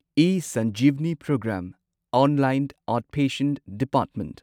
ꯏꯁꯟꯖꯤꯚꯥꯅꯤ programme online outpatient department